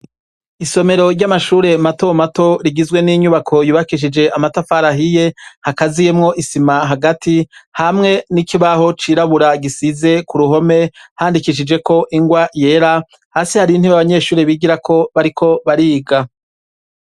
Isomero ry'amashure matomato rigizwe n'inyubako yubakishije amatafari ahiye hakaziyemwo isima hagati hamwe n'ikibaho cirabura gisize ku ruhome handikishijeko ingwa yera, hasi hari intebe abanyeshure bigirako bariko bariga.